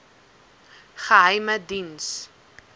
geheimediens